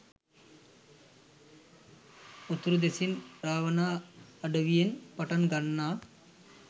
උතුරු දෙසින් රාවණ අඩවියෙන් පටන් ගන්නා